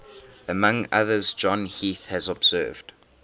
among others john heath has observed